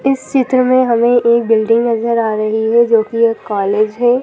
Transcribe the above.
इस चित्र में हमें एक बिल्डिंग नजर आ रही है जो कि एक कॉलेज है।